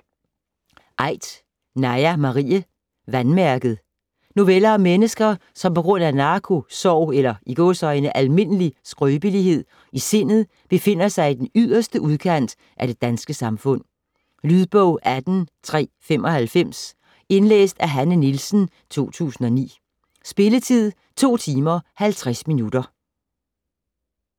Aidt, Naja Marie: Vandmærket Noveller om mennesker, som på grund af narko, sorg eller "almindelig" skrøbelighed i sindet befinder sig i den yderste udkant af det danske samfund. Lydbog 18395 Indlæst af Hanne Nielsen, 2009. Spilletid: 2 timer, 50 minutter.